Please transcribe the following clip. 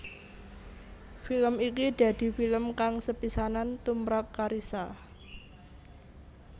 Film iki dadi film kang sepisanan tumprap Carissa